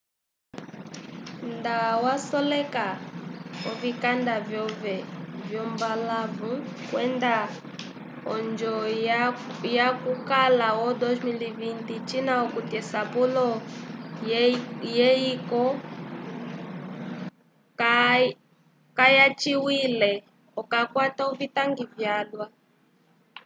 nda wasoleka ovikanda vyove vyombalãwu kwenda onjo yokukala vo 2020 cina okuti esapulo lyeyiko kalyaciwile okakwata ovitangi vyalwa